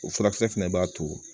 O furakisɛ fɛnɛ b'a to